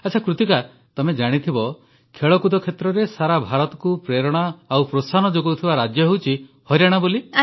ଆଚ୍ଛା କୃତିକା ତମେ ଜାଣିଥିବ ଖେଳକୁଦ କ୍ଷେତ୍ରରେ ସାରା ଭାରତକୁ ପ୍ରେରଣା ଓ ପ୍ରୋତ୍ସାହନ ଯୋଗାଉଥିବା ରାଜ୍ୟ ହେଉଛି ହରିୟାଣାବୋଲି